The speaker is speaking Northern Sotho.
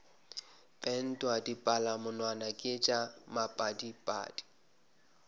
pentwa dipalamonwana ke tša maphadiphadi